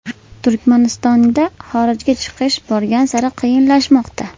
Turkmanistonda xorijga chiqish borgan sari qiyinlashmoqda.